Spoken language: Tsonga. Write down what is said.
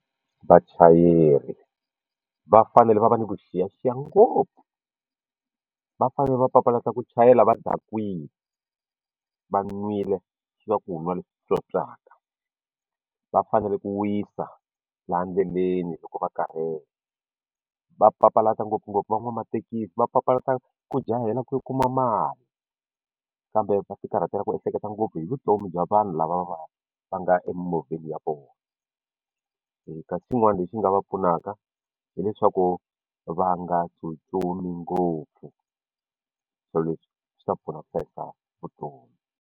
Vachayeri va fanele va va ni vuxiyaxiya ngopfu va fanele va papalata ku chayela va dakwile va nwile swa ku nwa leswi tswotswaka va fanele ku wisa laha endleleni loko va karhele va papalata ngopfungopfu van'wamathekisi va papalata ku jahela ku kuma mali kambe va ti karhatela ku ehleketa ngopfu hi vutomi bya vanhu lava va nga emimovheni ya vona kasi xin'wana lexi nga va pfunaka hileswaku va nga tsutsumi ngopfu swilo leswi swi ta pfuna ku hlayisa vutomi.